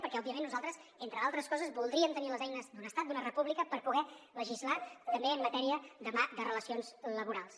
perquè òbviament nosaltres entre altres coses voldríem tenir les eines d’un estat d’una república per poder legislar també en matèria demà de relacions laborals